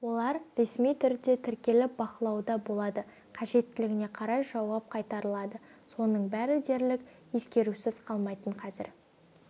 олар ресми түрде тіркеліп бақылауда болады қажеттілігіне қарай жауап қайтарылады соның бәрі дерлік ескерусіз қалмайтын қазір